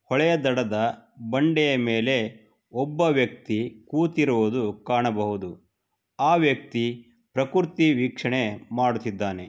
ಹೊಳೆಯ ದಡದ ಬಂಡೆಯ ಮೇಲೆ ಒಬ್ಬ ವ್ಯಕ್ತಿ ಕೂತಿರುವುದು ಕಾಣಬಹುದು ಆ ವ್ಯಕ್ತಿ ಪ್ರಕೃತಿ ವೀಕ್ಷಣೆ ಮಾಡುತ್ತಿದ್ದಾನೆ.